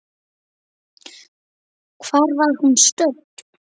Hvar var hún stödd?